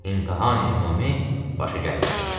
İmtahani ümumi başa gəlmədi.